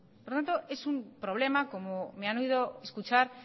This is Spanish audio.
por lo tanto es un problema como me han oído escuchar